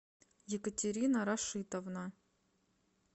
екатерина рашитовна